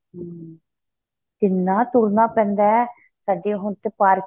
ਹਮ ਕਿੰਨਾ ਤੁਰਨਾ ਪੈਂਦਾ ਏ ਸਾਡੀ ਹੁਣ ਤੇ parking